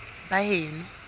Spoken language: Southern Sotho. baheno